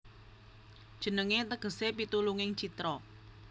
Jenengé tegesé Pitulunging Citra